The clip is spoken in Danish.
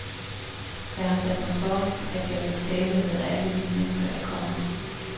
Jeg har sat mig for, at jeg vil tale med alle de mennesker, der kommer.